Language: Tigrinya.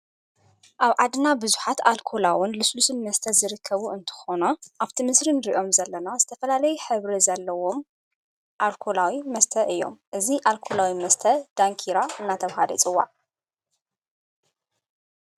ኣብ ዓድና ብዙኃት ኣልኮላውን ልሱሉስን መስተ ዝርከቡ እንተኾኖ ኣብቲ ምስርን ርእዮም ዘለና ዝተፈላለይ ኅብሪ ዘለዎም ኣልኮላዊ መስተ እዮም እዙ ኣልኮላዊ መስተ ዳንኪራ እናተብሃለ ይፅዋዕ።